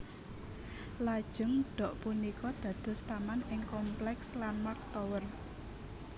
Lajeng dok punika dados taman ing kompleks Landmark Tower